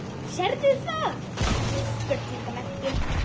Sérðu það?